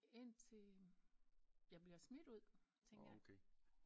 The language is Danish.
Indtil jeg bliver smidt ud tænker jeg